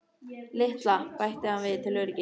LITLA, bætti hann við til öryggis.